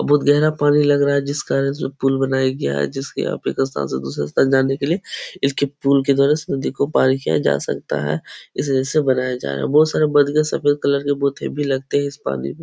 बोत गहरा पानी लग रहा है जिस कारण से पुल बनाया गया है जिसकी आप एक स्थान से दूसरे स्थान जाने के लिए इसके पुल के द्वारा इस नदी को पार किया जा सकता है। इस जैसे बनाया जा रहा है। बहोत सारे बन गए सफेद कलर के बोत हैवी लगते हैं इस पानी में।